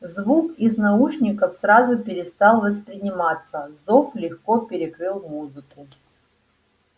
звук из наушников сразу перестал восприниматься зов легко перекрыл музыку